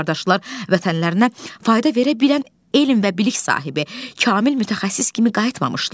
Lakin qardaşlar vətənlərinə fayda verə bilən elm və bilik sahibi, kamil mütəxəssis kimi qayıtmamışdılar.